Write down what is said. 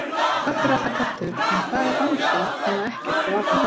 Köttur er alltaf köttur en hvað er bangsi nema ekkert og varla það.